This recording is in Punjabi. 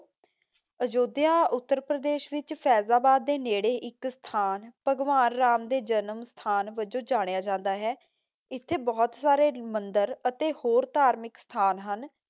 ਅਯੁੱਧਿਆ ਉੱਤਰ ਪ੍ਰਦੇਸ਼ ਵਿਚ ਫੈਜ਼ਾਬਾਦ ਦੇ ਨੇੜੇ ਇੱਕ ਸਥਾਨ, ਭਗਵਾਨ ਰਾਮ ਦੇ ਜਨਮ ਸਥਾਨ ਵੱਜੋਂ ਜਾਣਿਆ ਜਾਂਦਾ ਹੈ। ਇੱਥੇ ਬਹੁਤ ਸਾਰੇ ਮੰਦਰ ਅਤੇ ਹੋਰ ਧਾਰਮਿਕ ਸਥਾਨ ਹਨ